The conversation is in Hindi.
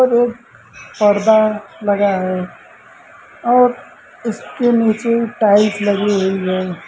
एक पर्दा लगा है और उसके नीचे टाइल्स लगी हुई है।